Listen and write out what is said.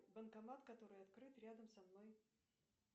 банкомат который открыт рядом со мной